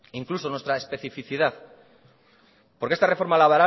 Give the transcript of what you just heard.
incluso nuestra especificidad porque esta reforma